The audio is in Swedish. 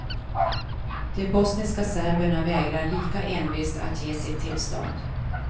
De bosniska serberna vägrar lika envist att ge sitt tillstånd.